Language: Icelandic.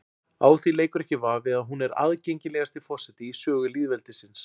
Á því leikur ekki vafi að hún er aðgengilegasti forseti í sögu lýðveldisins.